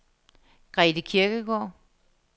Grete Kirkegaard